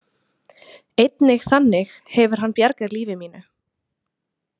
Einnig þannig hefur hann bjargað lífi mínu.